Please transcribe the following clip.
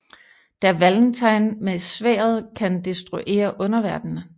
Da Valentine med sværdet kan destruere underverdenen